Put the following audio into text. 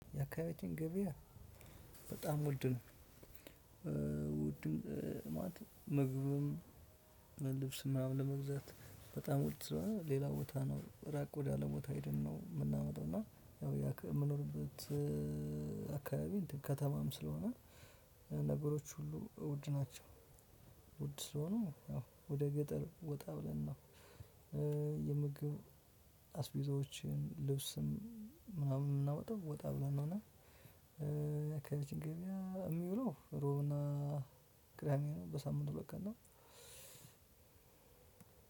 የአካባቢያችን ገበያ በጣም ውድ ነው። ውድ ማለት ምግብም ልብስም ምናምን ለመግዛት በጣም ውድ ስለሆነ ሌላ ቦታ ነው ራቅ ወደ አለ ቦታ ሄደን ነው የምናመጣው። እና ያው የምኖርበት አካባቢ ከተማም ስለሆነ ነገሮች ሁሉ ውድ ናቸው። ውድ ስለሆኑ ያው ወደ ገጠር ወጣ ብለን ነው። የምግብ አስቤዛዎችን ልብስም ምናምን የናመጣው ወጣ ብለን ነው። እና የአከባቢያችን ገበያ የሚውለው ሮብና ቅዳሜ ነው። በሳምንቱ በቀን ነው።